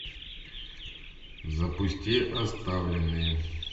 запусти оставленные